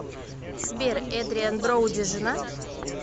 сбер эдриан броуди женат